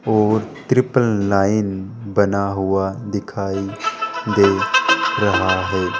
और triple nine बना हुआ दिखाई दे रहा है।